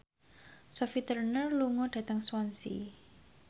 Sophie Turner lunga dhateng Swansea